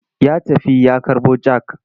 Ya tafi ya karɓo jak.